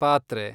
ಪಾತ್ರೆ